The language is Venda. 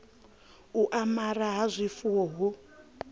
u amara ha zwifuwo hu